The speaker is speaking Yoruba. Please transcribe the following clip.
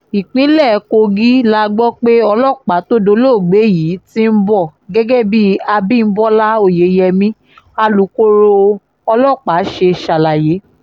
ìpínlẹ̀ kogi la gbọ́ pé ọlọ́pàá tó dolóògbé yìí ti ń bọ̀ gẹ́gẹ́ bí abimọlá oyeyèmí alukoro ọlọ́pàá ṣe ṣàlàyé